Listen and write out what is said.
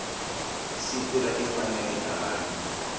siku ra timfanelo ta vanhu